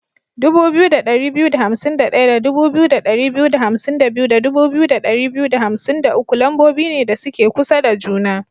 2251 da 2252 da 2253 lambobi ne da suke kusa da juna.